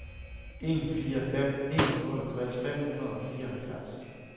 en fire fem en otteogtres fem hundrede og fireoghalvtreds